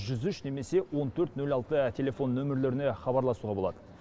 жүз үш немесе он төрт нөл алты телефон нөмірлеріне хабарласуға болады